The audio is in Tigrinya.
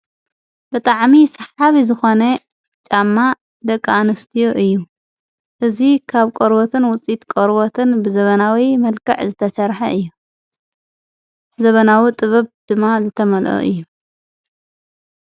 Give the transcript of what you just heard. ብጣዕሚ ስሓቢ ዝኾነ ጫማ ደቂ ኣንስትዮ እዩ እዙ ኻብ ቆርበትን ውፅኢት ቆርበትን ብዘበናዊ መልክዕ ዝተሰርሐ እዩ ዘበናዊ ጥበብ ድማ ዝተመልኦ እዩ።